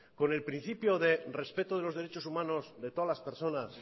con el principio de respeto de los derechos humanos de todas las personas